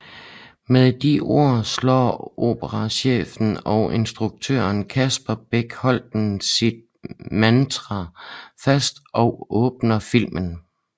Med de ord slår operachef og instruktør Kasper Bech Holten sit mantra fast og åbner filmen